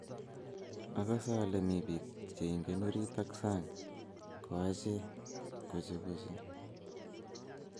Akase ale mitei bik che ingen orit ak sang ko ache kochekoche